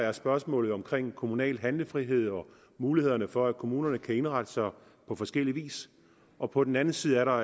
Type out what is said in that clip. er spørgsmålet om kommunal handlefrihed og mulighederne for at kommunerne kan indrette sig på forskellig vis og på den anden side er der